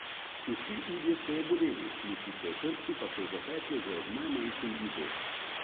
Vsi udje so jo boleli, mišice v hrbtu pa so jo zapekle že ob najmanjšem gibu.